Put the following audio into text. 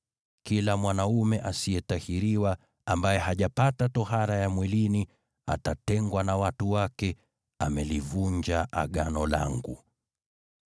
Kila mwanaume asiyetahiriwa, ambaye hajapata tohara ya mwilini, atatengwa na watu wake, amelivunja Agano langu.”